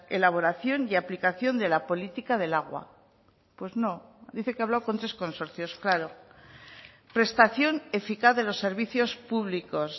elaboración y aplicación de la política del agua pues no dice que ha hablado con tres consorcios claro prestación eficaz de los servicios públicos